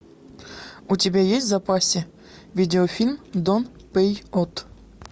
у тебя есть в запасе видеофильм дон пейот